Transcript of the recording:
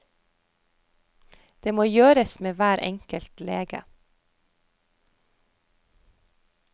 Det må gjøres med hver enkelt lege.